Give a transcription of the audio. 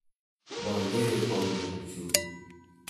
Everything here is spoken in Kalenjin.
Magere konyekchu.